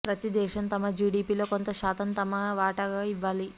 ప్రతి దేశం తమ జిడిపిలో కొంత శాతం తమ వాటాగా యివ్వాలి